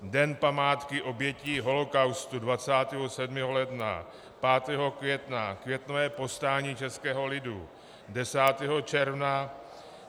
Den památky obětí holocaustu - 27. ledna, 5. května - Květnové povstání českého lidu, 10. června -